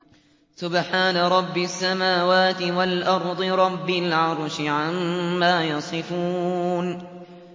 سُبْحَانَ رَبِّ السَّمَاوَاتِ وَالْأَرْضِ رَبِّ الْعَرْشِ عَمَّا يَصِفُونَ